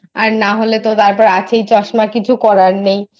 আর নাহলে তো আছেই চশমা কিছু করার নেই।